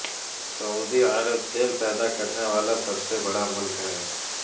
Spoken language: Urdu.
سعودی عرب تیل پیدا کرنے والا سب سے بڑا ملک ہے